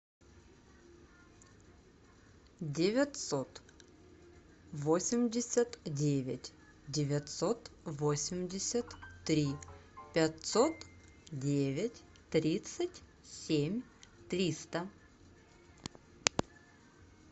девятьсот восемьдесят девять девятьсот восемьдесят три пятьсот девять тридцать семь триста